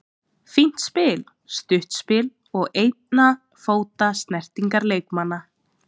Fínt spil, stutt spil og einna fóta snertingar leikmanna.